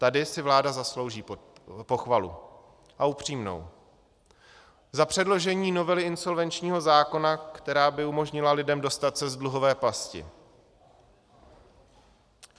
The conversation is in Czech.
Tady si vláda zaslouží pochvalu, a upřímnou, za předložení novely insolvenčního zákona, která by umožnila lidem dostat se z dluhové pasti.